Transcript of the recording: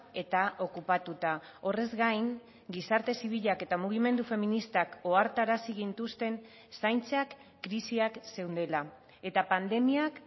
eta okupatuta horrez gain gizarte zibilak eta mugimendu feministak ohartarazi gintuzten zaintzak krisiak zeundela eta pandemiak